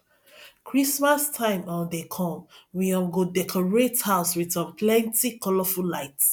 christmas time um dey come we um go decorate house with um plenty colorful lights